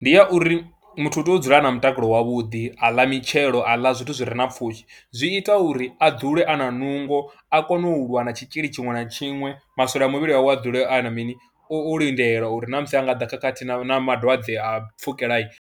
Ndi ya uri muthu u tea u dzula a na mutakalo wavhuḓi, a ḽa mitshelo, a ḽa zwithu zwi re na pfhushi, zwi ita uri a dzule a na nungo a kone u lwa na tshitzhili tshiṅwe na tshiṅwe, maswole a muvhili wawe a dzule a na mini, o lindela uri na musi ha nga ḓa khakhathi na malwadze a pfhukela.